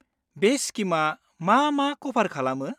बे स्किमआ मा मा क'भार खालामो?